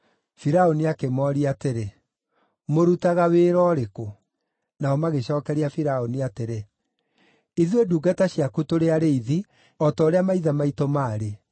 Firaũni akĩmooria atĩrĩ, “Mũrutaga wĩra ũrĩkũ?” Nao magĩcookeria Firaũni atĩrĩ, “Ithuĩ ndungata ciaku tũrĩ arĩithi, o ta ũrĩa maithe maitũ maarĩ.”